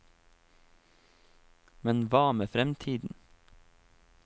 Men hva med fremtiden?